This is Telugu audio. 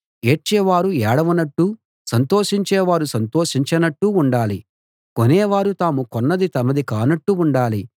ఏడ్చేవారు ఏడవనట్టు సంతోషించేవారు సంతోషించనట్టు ఉండాలి కొనేవారు తాము కొన్నది తమది కానట్టు ఉండాలి